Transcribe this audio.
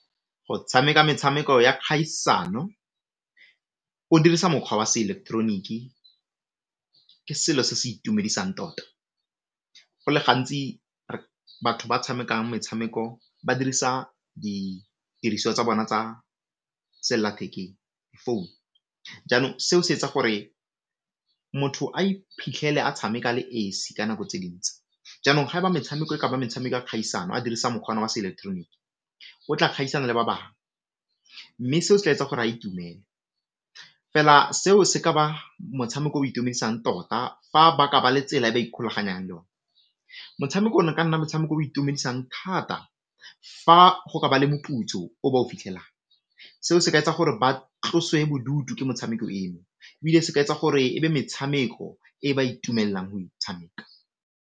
Go tshameka metshameko ya kgaisano o dirisa mokgwa wa seileketeroniki ke selo se se itumedisang tota, go le gantsi batho ba tshamekang metshameko ba dirisa didiriswa tsa bona tsa selathekeng, phone jaanong se o se etsa gore motho a iphitlhele a tshameka a le esi ka nako tse dintsi jaanong ga ba metshameko e ka ba metshameko ya kgaisano a dirisa mokgwa wa seileketeroniki o tla kgaisana le ba bangwe, mme seo se tla etsa gore a itumele fela seo se ka ba motshameko o itumedisang tota fa ba ka ba le tsela e ba ikgolaganyang le ona. Motshameko o na o ka nna motshameko o itumedisang thata fa go ka ba le moputso o ba o fitlhelang, seo se ka etsa gore ba tloswe bodutu ke motshameko eno ebile se ka etsa gore e be metshameko e ba itumellang go e tshameka.